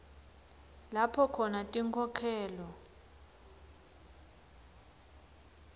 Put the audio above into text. lapho khona tinkhokhelo